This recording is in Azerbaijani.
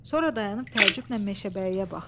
Sonra dayanıb təəccüblə Meşəbəyiyə baxdı.